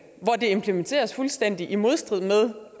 hvor det implementeres fuldstændig i modstrid med